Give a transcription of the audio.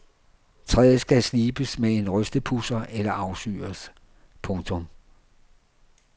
Træet skal slibes med en rystepudser eller afsyres. punktum